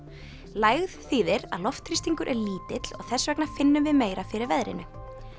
lægð þýðir að loftþrýstingur er lítill og þess vegna finnum við meira fyrir veðrinu